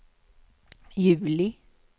juli